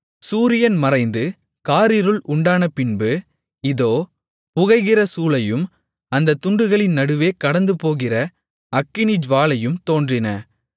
சூரியன் மறைந்து காரிருள் உண்டானபின்பு இதோ புகைகிற சூளையும் அந்தத் துண்டுகளின் நடுவே கடந்துபோகிற அக்கினிஜூவாலையும் தோன்றின